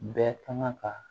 Bɛɛ kan ka